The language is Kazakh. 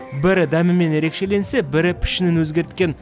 бірі дәмімен ерекшеленсе бірі пішінін өзгерткен